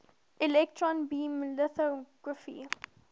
electron beam lithography